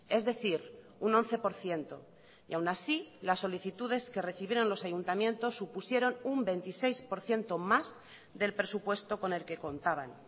es decir un once por ciento y aún así las solicitudes que recibieron los ayuntamientos supusieron un veintiséis por ciento más del presupuesto con el que contaban